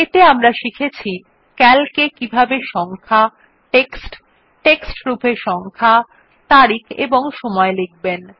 এতে আমরা শিখেছি ক্যালক এ কিভাবে সংখ্যা টেক্সট টেক্সট রূপে সংখ্যা তারিখ এবং সময় লিখবেন